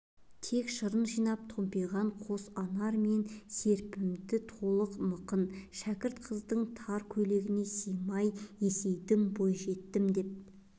тек шырын жинап томпиған қос анар мен серпінді толық мықын шәкірт қыздың тар көйлегіне сыймай есейдім бойжеттім деп